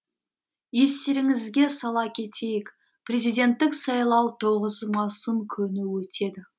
естеріңізге сала кетейік президенттік сайлау тоғыз маусым күні өтеді